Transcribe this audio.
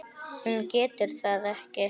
Hún getur það ekki.